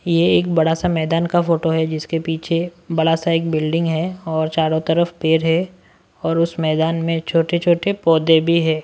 ये एक बड़ा सा मैदान का फोटो है जिसके पीछे बड़ा सा एक बिल्डिंग है और चारों तरफ पैर है और उस मैदान में छोटे-छोटे पौधे भी हैं।